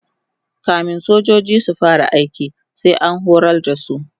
kamin sojoji su fara aiki sai an horar da su